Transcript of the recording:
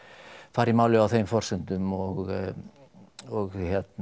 fara í málið á þeim forsendum og og